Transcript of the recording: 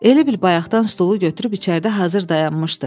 Elə bil bayaqdan stulu götürüb içəridə hazır dayanmışdı.